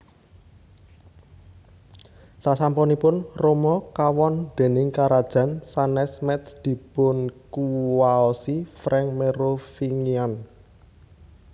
Sasampunipun Roma kawon déning karajan sanès Métz dipunkuwaosi Frank Merovingian